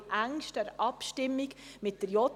dies jedoch in engster Abstimmung mit der JGK.